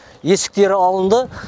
есіктері алынды